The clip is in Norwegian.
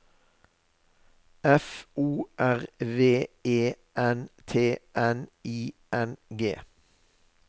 F O R V E N T N I N G